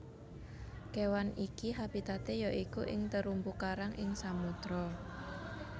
Kéwan iki habitaté ya iku ing terumbu karang ing samodra